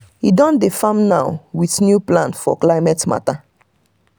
e don dey farm now with new plan for climate matter.